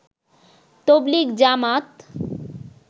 তাবলিগ জামাত